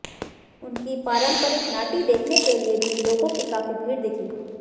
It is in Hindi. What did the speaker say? उनकी पारंपरिक नाटी देखने के लिए भी लोगो की काफी भीड़ दिखी